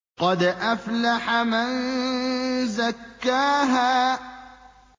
قَدْ أَفْلَحَ مَن زَكَّاهَا